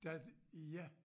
Da ja